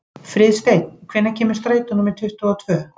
Friðsteinn, hvenær kemur strætó númer tuttugu og tvö?